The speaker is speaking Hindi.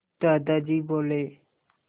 दादाजी बोले